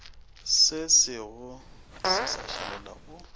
sesego se sa šaletše go